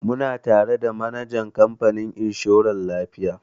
Muna tare da manajan kamfanin inshorar lafiya.